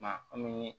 Maa komi